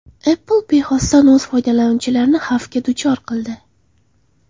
Apple bexosdan o‘z foydalanuvchilarini xavfga duchor qildi.